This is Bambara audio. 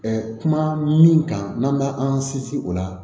kuma min kan n'an b'a an sinsin o la